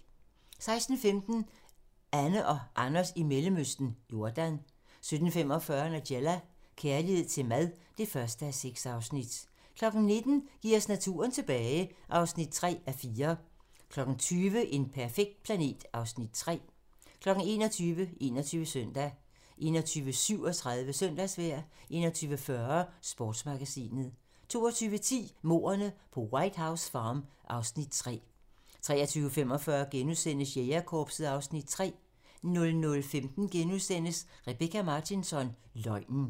16:15: Anne og Anders i Mellemøsten - Jordan 17:45: Nigella - kærlighed til mad (1:6) 19:00: Giv os naturen tilbage (3:4) 20:00: En perfekt planet (Afs. 3) 21:00: 21 Søndag 21:37: Søndagsvejr 21:40: Sportsmagasinet 22:10: Mordene på White House Farm (Afs. 3) 23:45: Jægerkorpset (Afs. 3)* 00:15: Rebecka Martinsson: Løgnen *